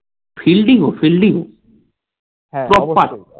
fielding ও fielding